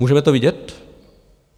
Můžeme to vidět?